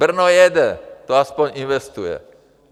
Brno jede, to aspoň investuje.